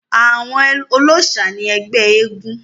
àwọn olóòsà ni ẹgbẹ́ eégún